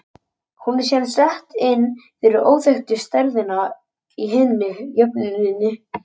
Hún er síðan sett inn fyrir óþekktu stærðina í hinni jöfnunni.